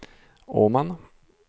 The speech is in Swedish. Åman